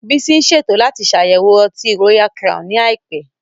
Bísí ń ṣètò láti ṣàyẹ̀wò Ọtí Royal Crown ní àìpẹ́